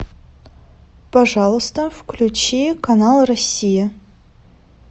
пожалуйста включи канал россия